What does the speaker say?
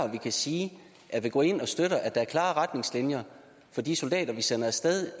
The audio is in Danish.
vi kan sige at vi går ind og støtter at der er klare retningslinjer for de soldater vi sender af sted